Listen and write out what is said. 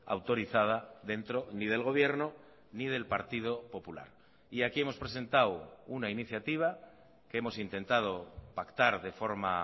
autorizada dentro ni del gobierno ni del partido popular y aquí hemos presentado una iniciativa que hemos intentado pactar de forma